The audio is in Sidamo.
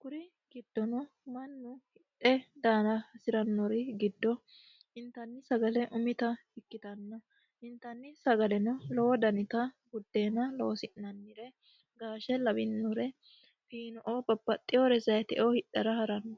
kuri giddono mannu hidhe daara hasiranori giddo intanni sagale umitta ikkittanna, intanni sagaleno lowo danitta budeenna loosi'nannire gaashe lawinore babbaxewore zayiteo hidhara harano.